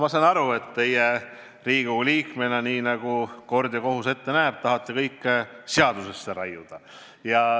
Ma saan aru, et teie Riigikogu liikmena, nii nagu kord ja kohus ette näeb, tahate kõike seadusesse raiuda.